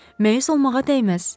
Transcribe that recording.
Məyus olmağa dəyməz.